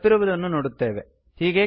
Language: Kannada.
ನಾವು ತಪ್ಪಿರುವುದನ್ನು ನೋಡುತ್ತೆವೆ